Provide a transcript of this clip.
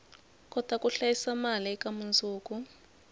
kota ku hlayisa mali eka mundzuku